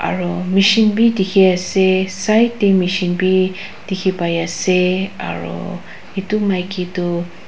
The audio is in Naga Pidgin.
aro machine bi dikhiase side tae machine bi dikhipaiase aro edu makitoh.